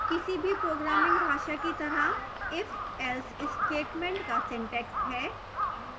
किसी भी programming भाषा की तरह ifelse statement का syntax हैः